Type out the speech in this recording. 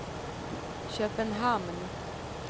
Köpenhamn